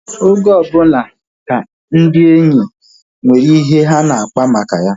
Oge ọbụla ka ndị enyi nwere ihe ha na-akpa maka ya